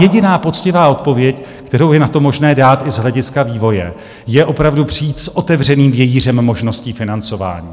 Jediná poctivá odpověď, kterou je na to možné dát i z hlediska vývoje, je opravdu přijít s otevřeným vějířem možností financování.